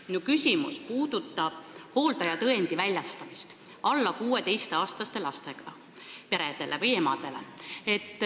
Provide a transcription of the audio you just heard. Minu küsimus puudutab hooldajatõendi väljastamist alla 16-aastaste lastega peredele või emadele.